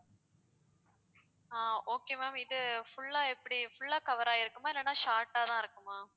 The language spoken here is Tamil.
ஆஹ் okay ma'am இது full ஆ எப்படி full ஆ cover ஆகியிருக்குமா இல்லைன்னா short ஆதான் இருக்குமா